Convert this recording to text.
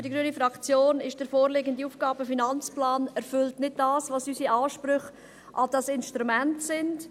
Für die Fraktion Grüne erfüllt der AFP nicht das, was unsere Ansprüche an dieses Instrument sind.